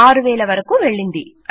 6000 వరకూ వెళ్ళింది